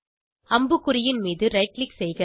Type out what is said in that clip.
அம்புக்குறியின் மீது right click செய்க